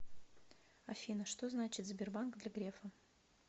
афина что значит сбербанк для грефа